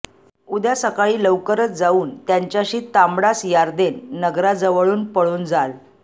उद्या सकाळी लौकरच जाऊन त्यांच्याशी तांबडास यार्देन नगराजवळून पळून जाल